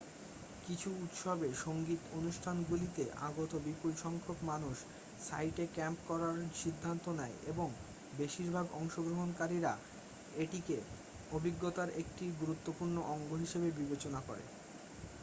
কিছু উৎসবে সংগীত অনুষ্ঠানগুলিতে আগত বিপুল সংখ্যক মানুষ সাইটে ক্যাম্প করার সিদ্ধান্ত নেয় এবং বেশিরভাগ অংশগ্রহণকারীরা এটিকে অভিজ্ঞতার একটি গুরুত্বপূর্ণ অঙ্গ হিসাবে বিবেচনা করে